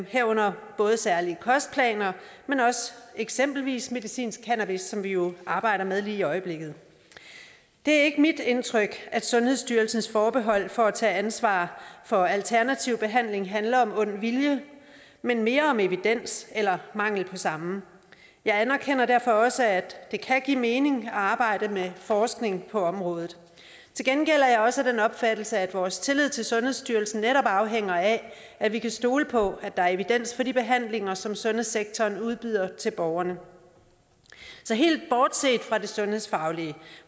herunder både særlige kostplaner men eksempelvis også medicinsk cannabis som vi jo arbejder med lige i øjeblikket det er ikke mit indtryk at sundhedsstyrelsens forbehold for at tage ansvar for alternativ behandling handler om ond vilje men mere om evidens eller mangel på samme jeg anerkender derfor også at det kan give mening at arbejde med forskning på området til gengæld er jeg også af den opfattelse at vores tillid til sundhedsstyrelsen netop afhænger af at vi kan stole på at der er evidens for de behandlinger som sundhedssektoren udbyder til borgerne så helt bortset fra det sundhedsfaglige